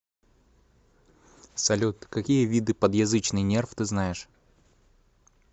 салют какие виды подъязычный нерв ты знаешь